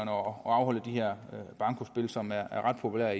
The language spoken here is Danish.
og afholde de her bankospil som er ret populære